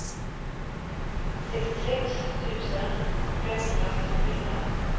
sextiosex tusen femhundrasextiofyra